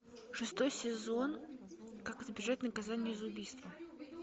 шестой сезон как избежать наказания за убийство